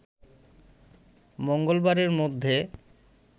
মঙ্গলবারের মধ্যে